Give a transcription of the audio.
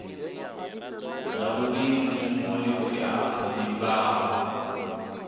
zwavhui mushumo we a livhana